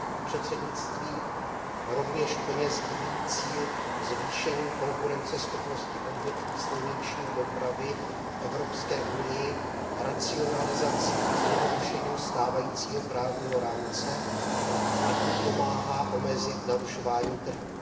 Předsednictví rovněž plně sdílí cíl zvýšení konkurenceschopnosti odvětví silniční dopravy v Evropské unii racionalizací a zjednodušením stávajícího právního rámce, a tím pomáhá omezit narušování trhů.